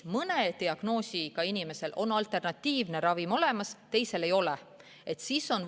Mõne diagnoosiga inimesel võib olla alternatiivne ravim olemas, teise diagnoosi puhul seda ei pruugi olla.